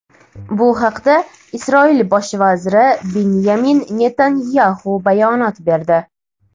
Bu haqda Isroil bosh vaziri Binyamin Netanyaxu bayonot berdi.